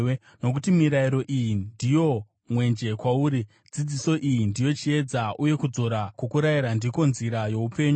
Nokuti mirayiro iyi ndiyo mwenje kwauri, dzidziso iyi ndiyo chiedza, uye kudzora kwokurayira ndiko nzira youpenyu,